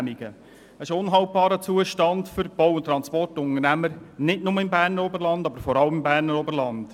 Das ist ein unhaltbarer Zustand für die Bau- und Transportunternehmer nicht nur, aber vor allem im Berner Oberland.